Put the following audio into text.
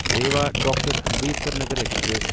Rewa doctor Ambedkar Nagar express